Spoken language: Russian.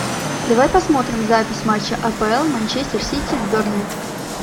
давай посмотрим запись матча апл манчестер сити с бернли